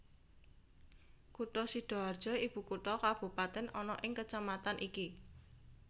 Kutha Sidaharja ibukutha Kabupaten ana ing kecamatan iki